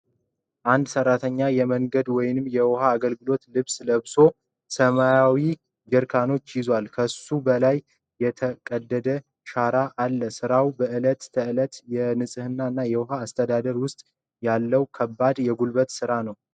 አንድ ሰራተኛ የመንገድ ወይም የውሃ አገልግሎት ልብስ ለብሶ ሰማያዊ ኮንቴይነሮችን ያዘዋል። ከሱ በላይ የተቀደደ ሸራ አለ። ስራው በእለት ተእለት የንጽህና እና የውሃ አስተዳደር ውስጥ ያለውን ከባድ የጉልበት ሥራ ነው።